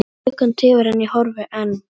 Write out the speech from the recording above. Klukkan tifar en ég horfi enn.